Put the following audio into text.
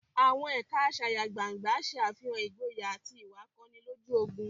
Àwọn ẹ̀ka asayagbangna ṣe àfihàn ìgboyà àti ìwà akọni lójú ogun.